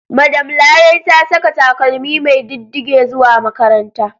Madam Larai ta saka takalmi mai diddige zuwa makaranta.